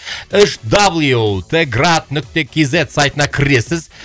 үш дабл ю т град нүкте кз сайтына кіресіз